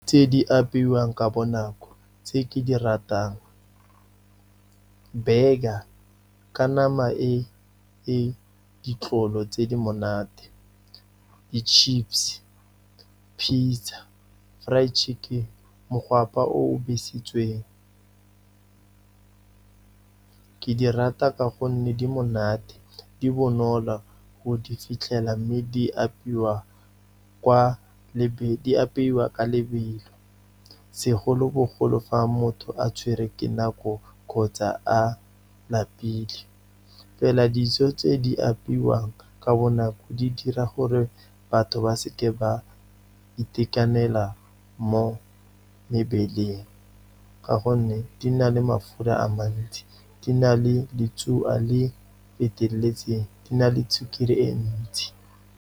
Tse di apeiwang ka bonako tse ke di ratang, burger ka nama e e ditlolo tse di monate, di-chips, pizza, fried chicken, mogwapa o o besitsweng. Ke di rata ka gonne, di monate, di bonolo go di fitlhela, mme di apeiwa ka lebelo, segolobogolo fa motho a tshwerwe ke nako kgotsa a lapile. Fela dijo tse di apeiwang ka bonako, di dira gore batho ba seke ba itekanela mo mebeleng, ka gonne di na le mafura a mantsi, di na le le feteletseng, di na le sukiri e ntsi.